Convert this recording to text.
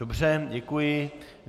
Dobře, děkuji.